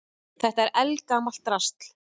Þetta er eldgamalt drasl.